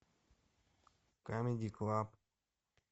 камеди клаб